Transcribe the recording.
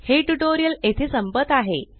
हे ट्यूटोरियल येथे संपत आहे